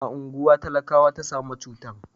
a unguwa talakawa ta samo cutan